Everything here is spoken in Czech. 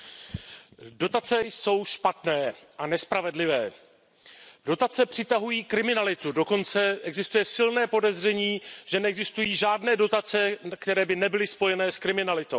Pane předsedající, dotace jsou špatné a nespravedlivé. Dotace přitahují kriminalitu, dokonce existuje silné podezření, že neexistují žádné dotace, které by nebyly spojené s kriminalitou.